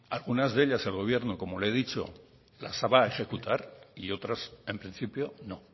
algunas de ellas el gobierno como le he dicho las va a ejecutar y otras en principio no